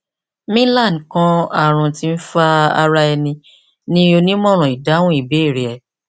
milan kan arun ti nfa ara ẹni ni onimọran idahun ibeere rẹ